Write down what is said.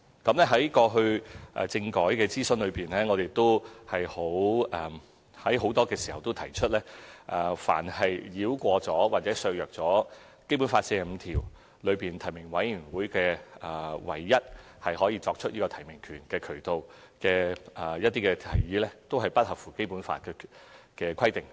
在過去的政改諮詢中，我亦在很多時候提出，凡是繞過或削弱《基本法》第四十五條中關於提名委員會作為唯一提名機構的提議，都不符合《基本法》的規定。